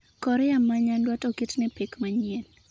Korea ma Nyanduat oketne pek manyien